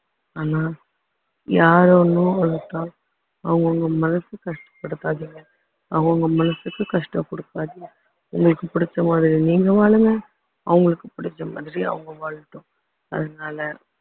ஆனா யாரும் அவங்கவுங்க மனச கஷ்டப்படுத்தாதீங்க அவங்க மனசுக்கு கஷ்டம் குடுக்காதீங்க உங்களுக்கு பிடிச்ச மாதிரி நீங்க வாழுங்க அவங்களுக்கு பிடிச்ச மாதிரி அவங்க வாழட்டும் அதனால